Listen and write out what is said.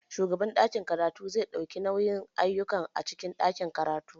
Shugaban ɗakin karatu zai ɗauki nauyin ayyukan a cikin ɗakin karatu.